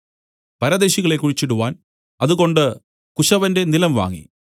പരദേശികളെ കുഴിച്ചിടുവാൻ അതുകൊണ്ട് കുശവന്റെ നിലം വാങ്ങി